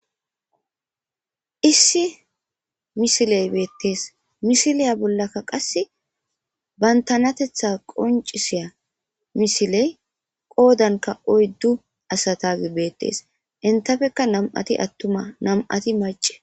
Issi misiley beettes misiliya bollaka qassi bantanateththa qonccisiya misiley qoodankka oyddu asatagi beettes. Entappekka nami'uti attuma nami'ati macca.